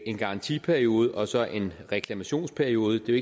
en garantiperiode og så en reklamationsperiode det er